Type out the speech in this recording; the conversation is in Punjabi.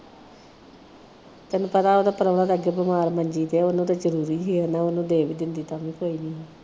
ਤੈਨੂੰ ਪਤਾ ਉਹਦਾ ਪ੍ਰਾਹੁਣਾ ਅੱਗੇ ਬਿਮਾਰ ਮੰਜੀ ਤੇ ਉਹਨੂੰ ਤਾਂ ਜਰੂਰੀ ਵੀ ਹੈਨਾ । ਉਨੂੰ ਦੇ ਵੀ ਦਿੰਦੀ ਤਾਂ ਵੀ ਕੋਈ ਨਹੀ ਸੀ।